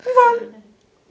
Não vale.